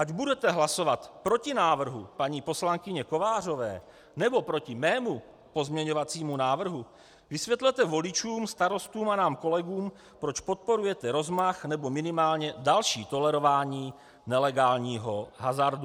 Ať budete hlasovat proti návrhu paní poslankyně Kovářové, nebo proti mému pozměňovacímu návrhu, vysvětlete voličům, starostům a nám kolegům, proč podporujete rozmach nebo minimálně další tolerování nelegálního hazardu.